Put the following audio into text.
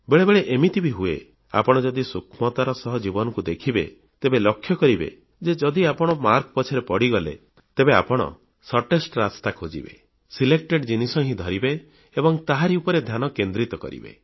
ବେଳେବେଳେ ଏମିତି ବି ହୁଏ ଆପଣ ଯଦି ସୂକ୍ଷ୍ମତାର ସହ ନିଜ ଜୀବନକୁ ଦେଖିବେ ତେବେ ଲକ୍ଷ୍ୟ କରିବେ ଯେ ଯଦି ଆପଣ ମାର୍କ ପଛରେ ପଡ଼ିଗଲେ ତେବେ ଆପଣ ଶର୍ଟ ରାସ୍ତା ଖୋଜିବେ ବଛା ବଛା ଜିନିଷ ହିଁ ଧରିବେ ଏବଂ ତାହାରି ଉପରେ ଧ୍ୟାନ କେନ୍ଦ୍ରିତ କରିବେ